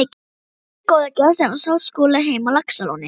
Margir góðir gestir hafa sótt Skúla heim á Laxalóni.